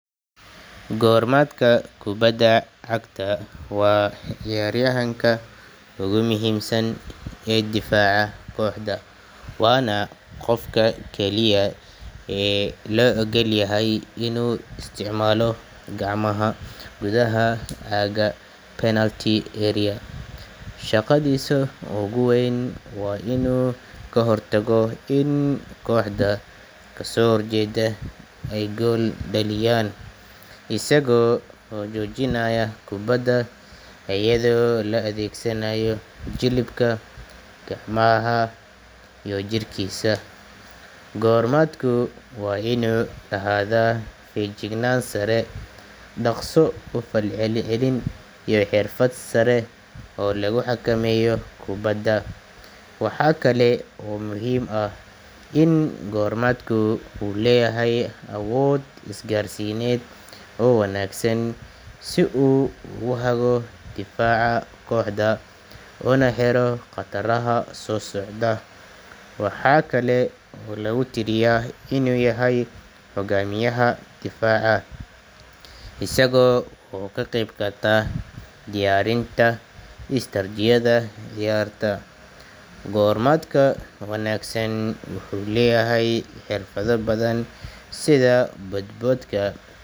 Goormaadka kubadda cagta waa ciyaaryahanka ugu muhiimsan ee difaaca kooxda, waana qofka keliya ee loo ogolyahay inuu isticmaalo gacmaha gudaha aagga penalty area. Shaqadiisa ugu weyn waa inuu ka hortago in kooxda ka soo horjeedda ay gool dhaliyaan, isaga oo joojinaya kubbadda iyada oo la adeegsanayo jilibka, gacmaha iyo jirkiisa. Goormaadku waa inuu lahaadaa feejignaan sare, dhaqso u falcelin iyo xirfad sare oo lagu xakameeyo kubbadda. Waxa kale oo muhiim ah in goormaadka uu leeyahay awood isgaarsiineed oo wanaagsan si uu ugu haggo difaaca kooxda una xiro khataraha soo socda. Waxa kale oo lagu tiriyaa inuu yahay hogaamiyaha difaaca, isaga oo ka qayb qaata diyaarinta istaraatiijiyada ciyaarta. Goormaadka wanaagsan wuxuu leeyahay xirfado badan sida boodboodka.